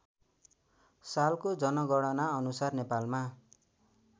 सालको जनगणनाअनुसार नेपालमा